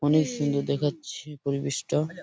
অনেক সুন্দর দেখাচ্ছে পরিবেশটা ।